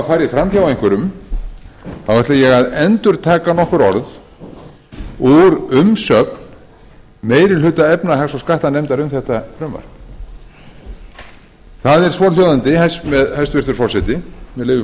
farið fram hjá einhverjum ætla ég að endurtaka nokkur orð úr umsögn meiri hluta efnahags og skattanefndar um þetta frumvarp það er svohljóðandi með leyfi